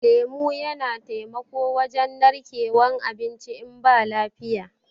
lemu Yana taimako wajen narkewan abinci in ba lafiya.